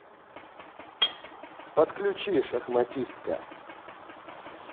подключи шахматистка